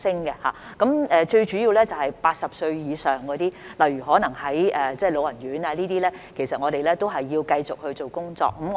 現時最主要的一群是80歲以上，例如可能居住於老人院的長者，我們也要繼續做工作。